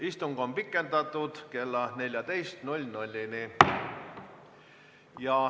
Istungit on pikendatud kella 14-ni.